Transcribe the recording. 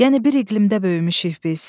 Yəni bir iqlimdə böyümüşük biz.